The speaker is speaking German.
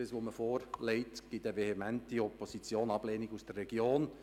Das, was man vorgelegt, führt zu einer vehementen Opposition, einer Ablehnung aus der Region.